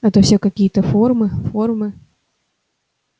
а то все какие-то формы формы